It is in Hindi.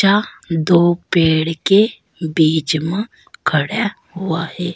दो पेड़ के बीच मां खड़ा हुआ है।